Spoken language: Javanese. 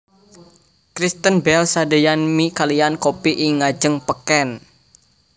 Kristen Bell sadeyan mie kaliyan kopi ing ngajeng peken